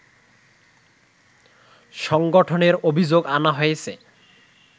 সংগঠনের অভিযোগ আনা হয়েছে